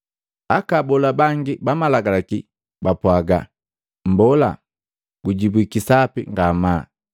Aka abola bangi ba Malagalaki bapwaaga, “Mmbola, gujibwiki sapi ngamaa.”